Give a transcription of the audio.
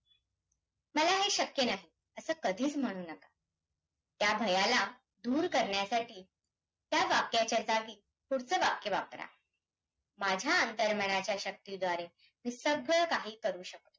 अ सर्वात पहिल्यांदि महाराष्ट्र राज्याचा जर विचार करायचा झाल्यास तर